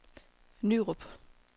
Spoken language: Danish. Nyrup